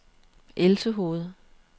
Elsehoved